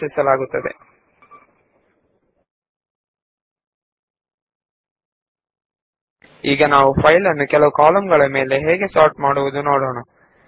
ಈಗ ನಾವು ಫೈಲ್ ನ ಕಂಟೆಂಟ್ ಅನ್ನು ಒಂದು ನಿಗದಿಪಡಿಸಿದ ಕಾಲಂನಲ್ಲಿ ಹೇಗೆ ವಿಂಗಡಿಸುವುದೆಂದು ನೋಡೋಣ